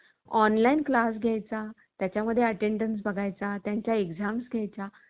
online class घ्यायच्या. त्याच्या मध्ये attendance बघायचा. त्यांच्या exams घ्यायच्या